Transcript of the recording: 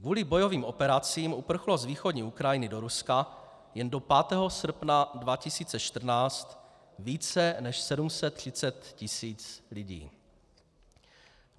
Kvůli bojovým operacím uprchlo z východní Ukrajiny do Ruska jen do 5. srpna 2014 více než 730 tisíc lidí.